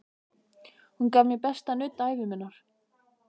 Hún gaf mér besta nudd ævi minnar.